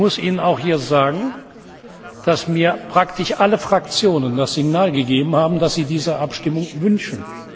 Ich muss Ihnen auch sagen, dass mir praktisch alle Fraktionen das Signal gegeben haben, dass sie diese Abstimmung wünschen.